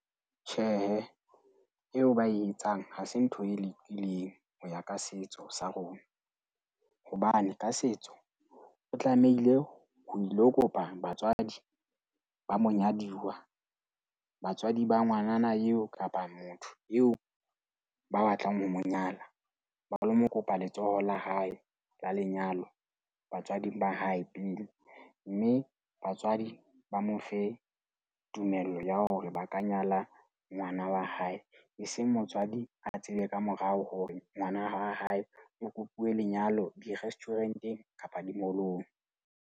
Tjhehe, eo ba e etsang ha se ntho e lokileng ho ya ka setso sa rona. Hobane ka setso o tlamehile ho ilo kopa batswadi ba monyadiwa. Batswadi ba ngwanana eo kapa motho eo ba batlang ho mo nyala. baholo, mo kopa letsoho la hae la lenyalo batswading ba hae pele. Mme batswadi ba mo fe tumello ya hore ba ka nyala ngwana wa hae. Eseng motswadi a tsebe ka morao hore ngwana wa hao wa hae o kopuwe lenyalo di-restaurant-eng kapa di-mall-ong.